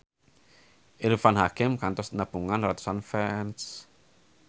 Irfan Hakim kantos nepungan ratusan fans